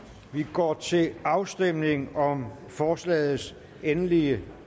går til afstemning om forslagets endelige